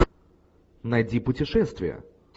найди путешествие